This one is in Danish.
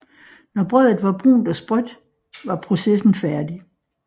Når brødet var brunt og sprødt var processen færdig